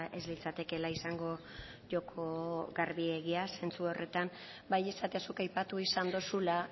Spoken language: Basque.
ez litzatekela izango joko garbiegia zentzu horretan bai esatea zuk aipatu izan dozula